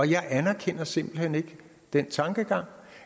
jeg anerkender simpelt hen ikke den tankegang